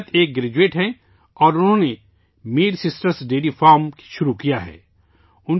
عشرت نبی ایک گریجویٹ ہیں اور انہوں نے ' میر سسٹرز ڈیری فارم' شروع کیا ہے